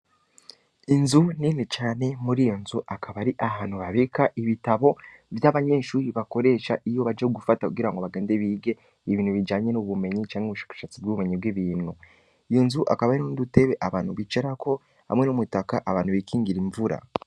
Inzu nini cane, muri iyo nzu akaba ari ahantu babika ibitabo, vy'abanyeshure bakoresha iyo baje gufata kugira ngo bagende bige ibintu bijanye n'ubumenyi, canke n’ubushakashatsi vy'ubumenyi bw'ibintu, iyo nzu hakaba hariho n'udutebe abantu bicarako, hamwe n'umutaka abantu bikingira imvura.